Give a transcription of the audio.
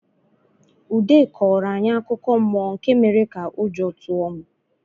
Ude kọọrọ anyị akụkọ mmụọ nke mere ka ụjọ tụọ m.